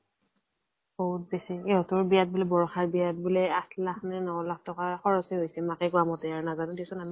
বহুত বেছি । ইহঁতৰ বিয়া ত বুলে, বৰষা ৰ বিয়া ত বুলে আঠ লাখ নে ন লাখ টকা খৰছে হৈছে, মাকে কোৱা মতে, নাজানো দিয়া চোন আমি ।